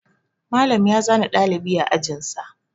Malam ya zane ɗalibi a ajin sa.